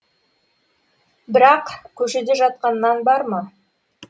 бірақ көшеде жатқан нан бар ма